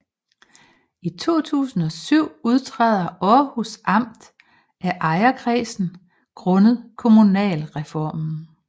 I 2007 udtræder Aarhus Amt af ejerkredsen grundet kommunalreformen